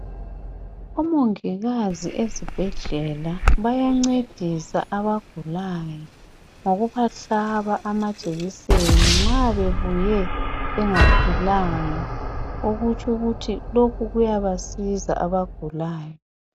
Omongikazi ezibhedlela bayancedisa abagulayo ngokubahlaba amajekiseni nxa bebuye bengaphilanga okutsho ukuthi lokhu kuyabasiza abagulayo.